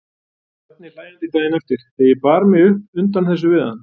Bjarni hlæjandi daginn eftir þegar ég bar mig upp undan þessu við hann.